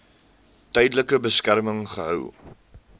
tydelike beskerming gehou